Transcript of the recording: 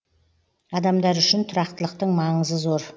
адамдар үшін тұрақтылықтың маңызы зор